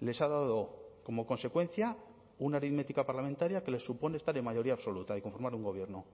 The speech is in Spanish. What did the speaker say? les ha dado como consecuencia una aritmética parlamentaria que les supone estar en mayoría absoluta y conformar un gobierno